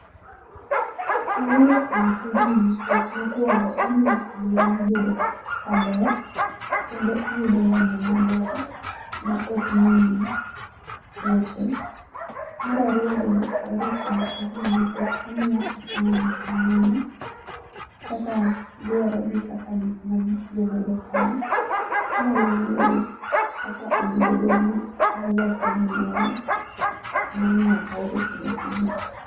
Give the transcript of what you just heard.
Ahero timo tijni nikech mokwongo omiyo alworani bedo ka kaler, kendo iyudo yamo maler, ma ok miyi, tuoche. Mar ariyo bende ahero timo tijni nikech omiyo asomo gik mang'eny, kaka luwore gi kaka gik ma gitiyo godo kae, anyalo ng'eyo kaka onego bedni a aloso gimoro. Emomiyo ahero timo tijni